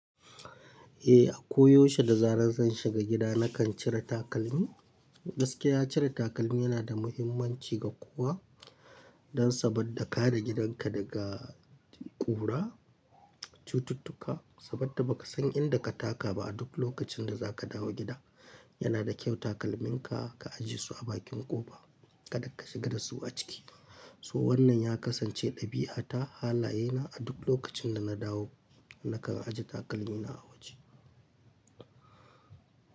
Eh, a koyaushe da zarar zan shiga gida nakan cire takalmi. Gakiya cire takalmi yana da muhimmanci ga kowa dan saboda kare gidanka daga ƙura, cututtuka. Saboda ba ka san inda ka taka ba a duk lokacin da za ka dawo gida. Yana da kyau takalminka ka ajiye su a bakin ƙofa kaɗan ka shiga dasu a ciki. So wannan ya kasance ɗabi'ata halaye na a duk lokacin da na dawo nakan ajiye takalmina a waje.